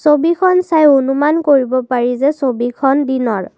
ছবিখন চাই অনুমান কৰিব পাৰি যে ছবিখন দিনৰ।